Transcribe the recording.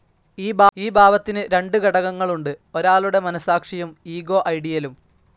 ഈ ഭാവത്തിന്ന് രണ്ട് ഘടകങ്ങളുണ്ട് ഒരാളുടെ മനസാക്ഷിയും ഇഗോ ഐഡിയലും.